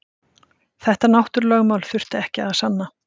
Þetta náttúrulögmál þurfti ekki að sanna.